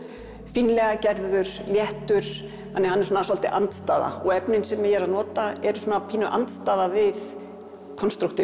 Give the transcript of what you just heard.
fínlega gerður léttur þannig að hann er svolítil andstæða og efnin sem ég er að nota eru pínu andstæða við